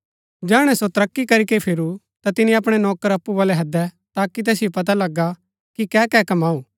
जैहणै सो तरक्की करीके फिरू ता तिनि अपणै नौकर अप्पु बलै हैदै ताकि तैसिओ पता लगा कि कैकै कमाऊ